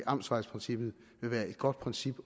amtsvejprincippet vil være et godt princip